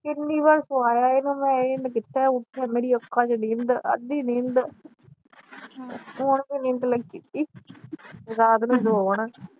ਕਿੰਨੀ ਵਾਰ ਸਵਾਇਆ ਇਹਨੂੰ ਮੈ ਇਹ ਕਿਥੇ ਉੱਠ ਮੇਰੀਆਂ ਅੱਖਾਂ ਚ ਨੀਂਦਰ ਅੱਧੀ ਨੀਦ ਹੁਣ ਵੀ ਨੀਂਦ ਲਗੀ ਪਈ ਰਾਤ ਨੂੰ ਸੋਊ ਹੁਣ